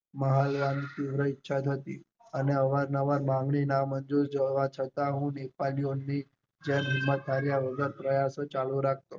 મારી પણ ઈચ્છા થતી કે અને અવારનવાર માંગણી નામાંજૂર થવા છતાં હું દેખાડ્યા વગર પ્રયાસો ચાલ રાખતો.